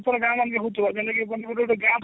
ସେଟା ଗାଁ ମାନଙ୍କରେ ହଉଥିବ ଜେନ୍ତା କି ଗୁଟେ ଗାଁ